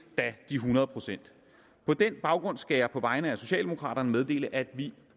de hundrede procent på den baggrund skal jeg på vegne af socialdemokraterne meddele at vi